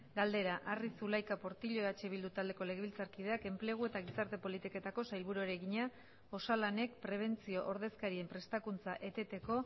galdera arri zulaika portillo eh bildu taldeko legebiltzarkideak enplegu eta gizarte politiketako sailburuari egina osalanek prebentzio ordezkarien prestakuntza eteteko